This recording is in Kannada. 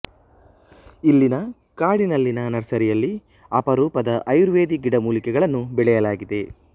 ಇಲ್ಲಿನ ಕಾಡಿನಲ್ಲಿನ ನರ್ಸರಿಯಲ್ಲಿ ಅಪರೂಪದ ಅಯುರ್ವೇದಿ ಗಿಡ ಮೂಲಿಕೆಗಳನ್ನು ಬೆಳೆಯಲಾಗಿದೆ